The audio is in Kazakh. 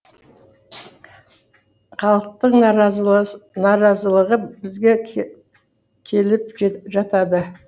халықтың наразылығы бізге келіп жатады